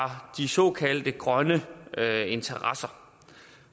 de såkaldte grønne interesser